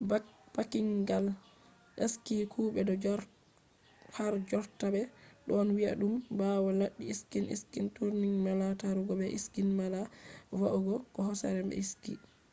backpacking gal ski: kuɓe do harjotta ɓe ɗon wi'a ɗum ɓawo laddi ski ski touring mala tarugo be ski mala va’ugo do hosere be ski